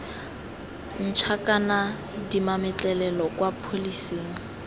ntšha kana dimametlelelo kwa pholesing